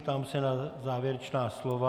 Ptám se na závěrečná slova.